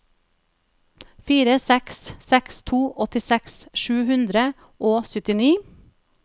fire seks seks to åttiseks sju hundre og syttini